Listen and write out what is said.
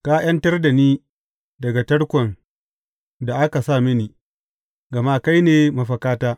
Ka ’yantar da ni daga tarkon da aka sa mini, gama kai ne mafakata.